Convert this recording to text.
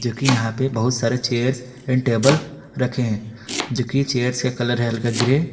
के यहां पे बहुत सारे चेयर्स एंड टेबल रखें जो कि चेयर्स से कलर है हल्का ग्रे ।